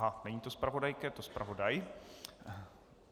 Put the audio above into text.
Aha, není to zpravodajka, je to zpravodaj.